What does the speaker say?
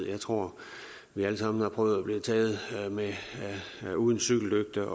jeg tror vi alle sammen har prøvet at blive taget uden cykellygte